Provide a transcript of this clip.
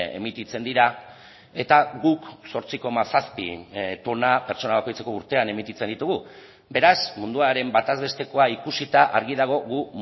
emititzen dira eta guk zortzi koma zazpi tona pertsona bakoitzeko urtean emititzen ditugu beraz munduaren bataz bestekoa ikusita argi dago gu